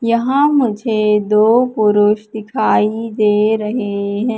यहां मुझे दो पुरुष दिखाई दे रहे हैं।